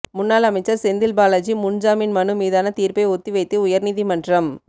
முன்னாள் அமைச்சர் செந்தில் பாலாஜி முன்ஜாமின் மனு மீதான தீர்ப்பை ஒத்திவைத்தது உயர்நீதிமன்றம்